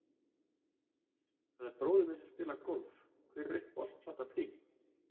Það er bróðir minn sem spilar golf Hver er uppáhalds platan þín?